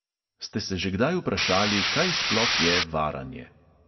Ste se že kdaj vprašali, kaj sploh je varanje?